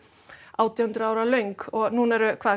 átján hundruð ára löng og núna eru